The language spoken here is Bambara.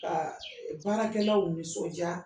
Ka baarakɛlaw nisɔndia